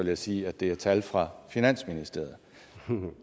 jeg sige at det er tal fra finansministeriet